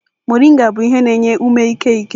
Moringa bụ ihe na-enye ume ike eke.